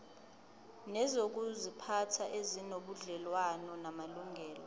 nezokuziphatha ezinobudlelwano namalungelo